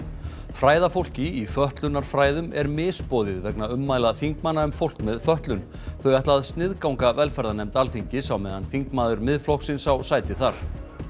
fræðafólki í fötlunarfræðum er misboðið vegna ummæla þingmanna um fólk með fötlun þau ætla að sniðganga velferðarnefnd Alþingis á meðan þingmaður Miðflokksins á sæti þar